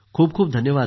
धन्यवाद सर